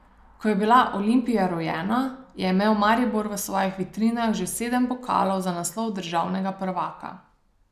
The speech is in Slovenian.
Ko je bila Olimpija rojena, je imel Maribor v svojih vitrinah že sedem pokalov za naslov državnega prvaka.